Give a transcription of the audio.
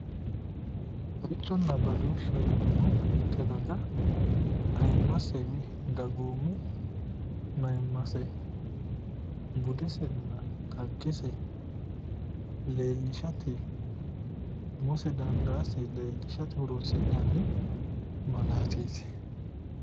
Sicconna badooshshu mitte daga aymasi umo ayimmase budesenn xaggese leellishate umose dandaate leellishshate horoonsi'nanni malaateeti